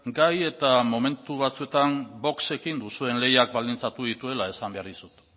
gai eta momentu batzuetan voxekin duzuen lehiak baldintzatu dituela esan behar dizut